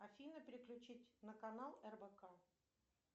афина переключить на канал рбк